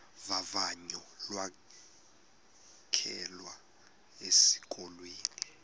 vavanyo lokwamkelwa esikolweni